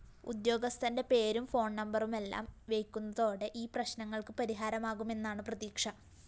ഉദ്യോഗസ്ഥന്റെ പേരും ഫോണ്‍നമ്പരുമെല്ലാം വെയ്ക്കുന്നതോടെ ഈ പ്രശ്‌നങ്ങള്‍ക്ക് പരിഹാരമാകുമെന്നാണ് പ്രതീക്ഷ